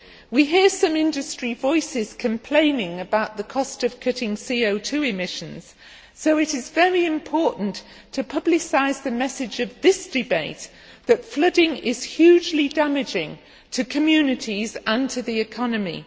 We hear some industry voices complaining about the cost of cutting CO 2 emissions, so it is very important to publicise the message of this debate that flooding is hugely damaging to communities and to the economy.